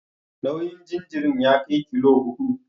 Nauyin jaririn ya kai kilo huɗu.